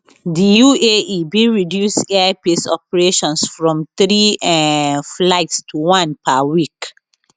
di uae bin reduce air peace operations from three um flights to one per week